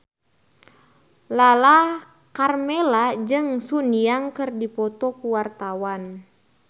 Lala Karmela jeung Sun Yang keur dipoto ku wartawan